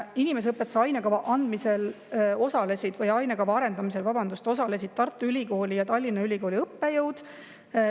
Inimeseõpetuse ainekava arendamisel osalesid Tartu Ülikooli ja Tallinna Ülikooli õppejõud.